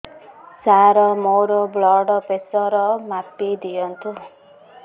ସାର ମୋର blood pressure ମାପି ଦିଅନ୍ତୁ